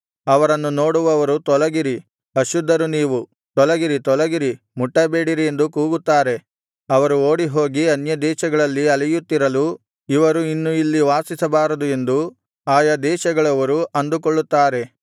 ಅವರನ್ನು ನೋಡುವವರು ತೊಲಗಿರಿ ಅಶುದ್ಧರು ನೀವು ತೊಲಗಿರಿ ತೊಲಗಿರಿ ಮುಟ್ಟಬೇಡಿರಿ ಎಂದು ಕೂಗುತ್ತಾರೆ ಅವರು ಓಡಿಹೋಗಿ ಅನ್ಯದೇಶಗಳಲ್ಲಿ ಅಲೆಯುತ್ತಿರಲು ಇವರು ಇನ್ನು ಇಲ್ಲಿ ವಾಸಿಸಬಾರದು ಎಂದು ಆಯಾ ದೇಶಗಳವರು ಅಂದುಕೊಳ್ಳುತ್ತಾರೆ